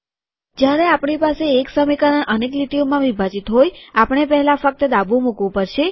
જયારે આપણી પાસે એક સમીકરણ અનેક લીટીઓમાં વિભાજીત હોય આપણે પહેલા ફક્ત ડાબું મુકવું પડશે